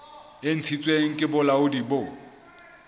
e ntshitsweng ke bolaodi bo